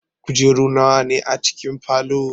Kujeru nawa ne a cikin falow?